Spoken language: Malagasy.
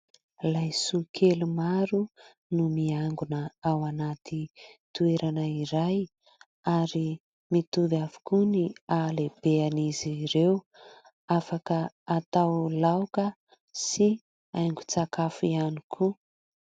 Laisoa kely maro no miangona ao anaty toerana iray ary mitovy avokoa ny ahalehiben'izy ireo ; afaka atao laoka sy haingon-tsakafo ihany koa.